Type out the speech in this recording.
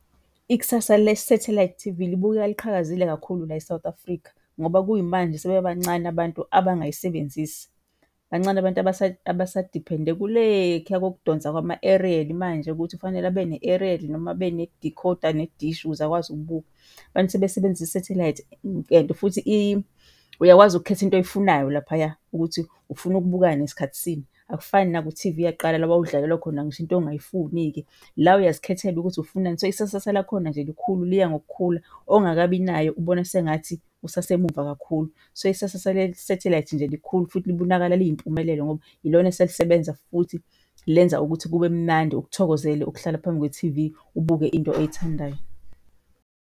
Ikusasa le-satellite T_V libukeka liqhakazile kakhulu la eSouth Africa ngoba kuyimanje sebeba bancane abantu abangayisebenzisi. Bancane abantu abasa-depend-e kulekhiya kokudonsa kwama-eriyeli manje ukuthi fanele abe ne-eriyeli noma abe nedikhoda nedishi ukuze ukwazi ukubuka. Abantu sebesebenzisa i-satellite and futhi uyakwazi ukukhetha into oyifunayo laphaya ukuthi ufuna ukubukani, ngasikhathi sini. Akufani naku-T_V yakuqala la owawudlalelwa khona ngisho into ongayifuni-ke. La uyazikhethela ukuthi ufunani, so isasasa lakhona nje likhulu, liya ngokukhula. Ongakabi nayo ubona sengathi usasemuva kakhulu. So isasasa le-satellite nje likhulu futhi libonakala liyimpumelelo ngoba yilona eselisebenza, futhi lenza ukuthi kube mnandi ukuthokozele ukuhlala phambi kwe-T_V ubuke into oyithandayo.